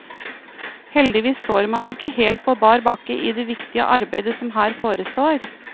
Heldigvis står man ikke helt på bar bakke i det viktige arbeide som her forestår.